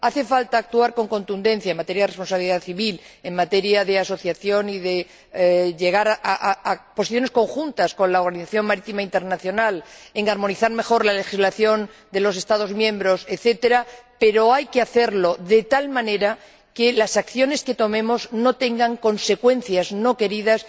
Hace falta actuar con contundencia en materia de responsabilidad civil y en materia de asociación, y llegar a posiciones conjuntas con la Organización Marítima Internacional, armonizar mejor la legislación de los Estados miembros, etcétera, pero hay que hacerlo de tal manera que las acciones que tomemos no tengan consecuencias no queridas.